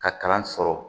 Ka kalan sɔrɔ